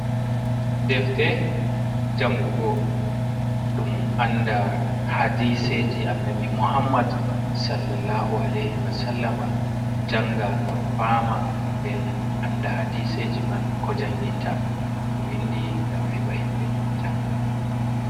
Defte jangugo ɗum anda hadiseji Annabi Muhammad sallallahu aleihi wa sallama. Janga ngam fama nden anda hadiseji man ko janginta, ɓe windi ngam heɓa himɓe janga.